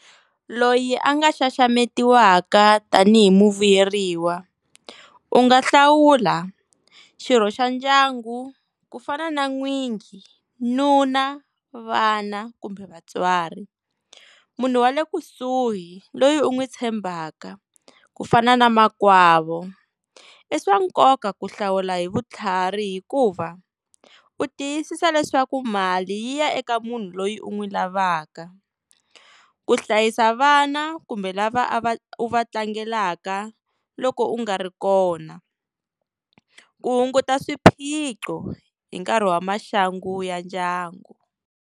Loyi a nga xaxametiwaka tanihi muvuyeriwa u nga hlawula xirho xa ndyangu ku fana na n'winyi nuna vana kumbe vatswari munhu wa le kusuhi loyi u n'wi tshembaka ku fana na makwavo i swa nkoka ku hlawula hi vutlhari hikuva u tiyisisa leswaku mali yi ya eka munhu loyi u n'wi lavaka ku hlayisa vana kumbe lava a va u va tlangelaka loko u nga ri kona ku hunguta swiphiqo hi nkarhi wa maxangu ya ndyangu.